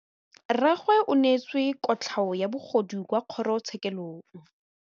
Rragwe o neetswe kotlhaô ya bogodu kwa kgoro tshêkêlông.